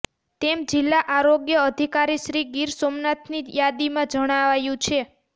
તેમ જિલ્લા આરોગ્ય અધિકારીશ્રી ગીર સોમનાથની યાદીમાં જણાવાયું છે